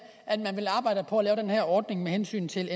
at man ville arbejde på at lave den her ordning med hensyn til